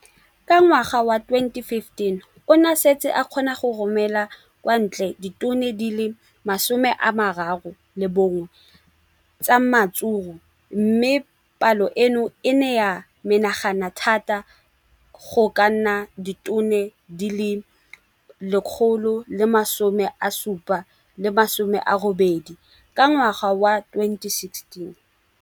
Ka ngwaga wa 2015, o ne a setse a kgona go romela kwa ntle ditone di le 31 tsa ratsuru mme palo eno e ne ya menagana thata go ka nna ditone di le 168 ka ngwaga wa 2016.